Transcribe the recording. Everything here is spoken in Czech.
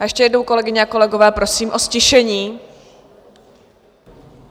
A ještě jednou, kolegyně a kolegové, prosím o ztišení.